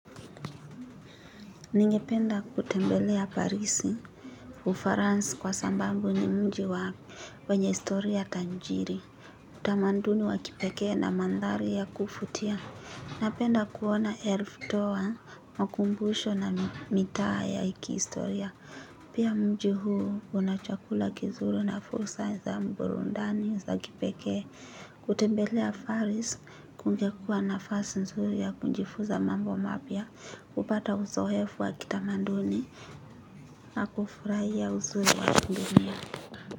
Ningependa kutembelea parisi Ufaransi kwa sambambu ni mji wa wenye istoriya tanjiri. Utamanduni wa kipekee na mandhari ya kufutia. Napenda kuona elf toa makumbusho na mitaa ya iki istoriya. Pia mji huu una chakula kizuri na fursa za mburundani ya za kipeke. Kutembelea faris kungekua nafasi nzuri ya kunjifuza mambo mapya. Kupata uso hefu wa kitamanduni na kufurahia uzuri wa kundunia.